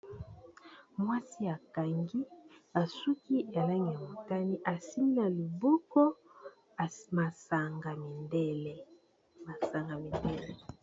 Mwasi akangi basuki yslangi ya motani esimbi na liboko masanga ya mindele, masanga ya mindele.